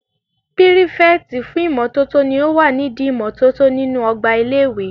Pírífẹ̀tì fún ìmótótó ní o wà nídi ìmótótó nínu ọgbà ilé-ìwé